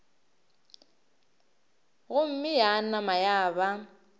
gomme ya nama ya ba